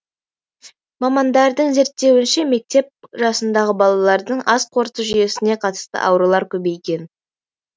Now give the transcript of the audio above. мамандардың зерттеуінше мектеп жасындағы балалардың ас қорыту жүйесіне қатысты аурулар көбейген